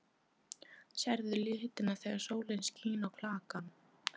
Sérðu litina þegar sólin skín á klakann?